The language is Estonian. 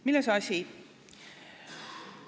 Milles asi?